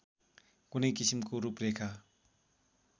कुनै किसिमको रूपरेखा